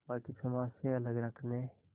बाक़ी समाज से अलग रखने